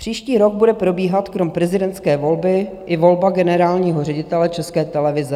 Příští rok bude probíhat krom prezidentské volby i volba generálního ředitele České televize.